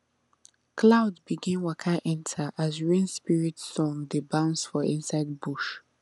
cloud begin waka enter as rain spirit song dey bounce for inside bush